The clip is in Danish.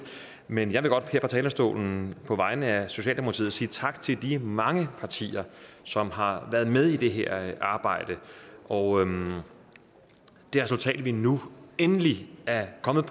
men jeg vil godt her fra talerstolen på vegne af socialdemokratiet sige tak til de mange partier som har været med i det her arbejde og det resultat som vi nu endelig er kommet